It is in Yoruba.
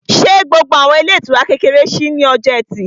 Ṣé gbogbo àwọn ilé ìtura kékeré ṣí ní ọjọ́ ẹtì?